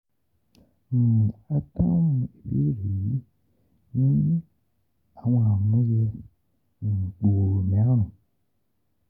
um A dahun ibeere yii ni awọn àmúyẹ um gbooro mẹrin: